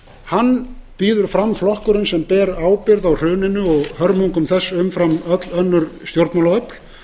hann býður fram flokkurinn sem ber ábyrgð á hruninu og hörmungum þess umfram öll önnur stjórnmálaöfl